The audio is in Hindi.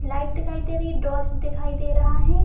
लाइट दिखाई दे रही है डॉस दिखाई दे रहा है।